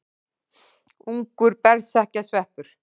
Ungur berserkjasveppur.